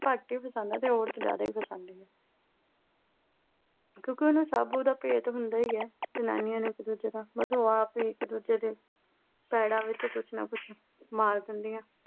ਘੱਟ ਹੀ ਫਸਾਉਂਦੇ ਆ ਤੇ ਔਰਤ ਜ਼ਿਆਦਾ ਹੀ ਫਸਾਉਂਦੀ ਆ ਕਿਉਂ ਕਿ ਉਹਨੂੰ ਸਭ ਉਹਦਾ ਭੇਤ ਹੁੰਦਾ ਹੀ ਆ। ਜਨਾਨੀਆਂ ਨੂੰ ਇੱਕ ਦੁਜੇ ਦਾ। ਬਸ ਉਹ ਆਪ ਇੱਕ ਦੁਜੇ ਦੇ ਪੈਰਾਂ ਵਿੱਚ ਕੁਛ ਨਾ ਕੁਛ ਮਾਰ ਦਿੰਦੀਆਂ।